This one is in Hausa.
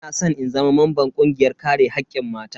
Ina san in zama mamban kungiyar kare hakkin mata.